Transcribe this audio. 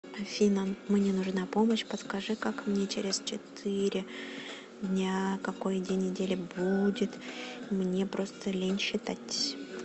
афина мне нужна помощь подскажи как мне через четыри дня какой день недели будет мне просто лень считать